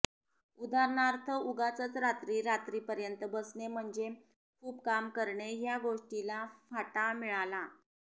उदाहरणार्थ उगाचच रात्री रात्री पर्यंत बसने म्हणजे खूप काम करणे ह्या गोष्टीला फाटा मिळाला